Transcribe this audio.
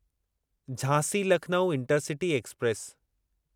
Jhansi Lucknow intercity express